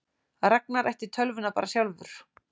Ragnar ætti tölvuna bara sjálfur?